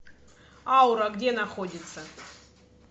аура где находится